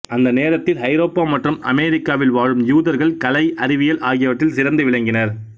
அந்த நேரத்தில் ஐரோப்பா மற்றும் அமெரிக்காவில் வாழும் யூதர்கள் கலை அறிவியல் ஆகியவற்றில் சிறந்து விளங்கினர்